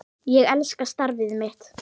Ég elska starfið mitt.